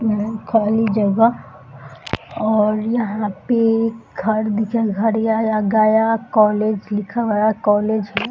यहाँ एक खाली जगह और यहाँ पे एक कोलेज लिखा हुआ है। कोलेज है।